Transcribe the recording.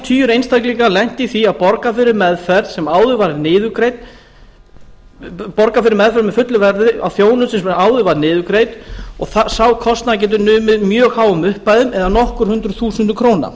tugir einstaklinga lent í því að borga fyrir meðferð fullu verði á þjónustu sem áður var niðurgreidd og sá kostnaður getur numið mjög háum upphæðum eða nokkur hundruð þúsundum króna